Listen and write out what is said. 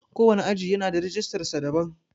Ko wane aji yana da rijistar sa daban.